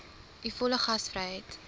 u volle gasvryheid